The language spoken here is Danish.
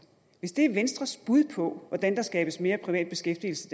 hvis det er venstres bud på hvordan der skabes mere privat beskæftigelse